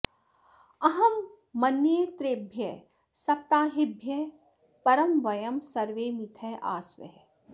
अहं मन्ये त्रयेभ्यः सप्ताहेभ्यः परं वयं सर्वे मिथः आस्व